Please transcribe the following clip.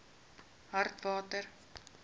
hartswater